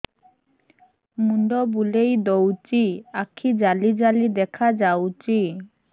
ମୁଣ୍ଡ ବୁଲେଇ ଦଉଚି ଆଖି ଜାଲି ଜାଲି ଦେଖା ଯାଉଚି